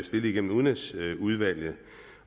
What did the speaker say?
stillet igennem udenrigsudvalget